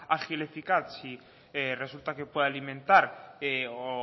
ágil y eficaz si resulta que puede alimentar o